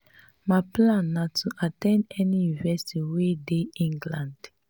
my plan na to at ten d any university wey dey england